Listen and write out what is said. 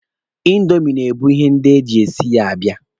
Indomi na-ebu ihe ndị e ji e si ya abịa.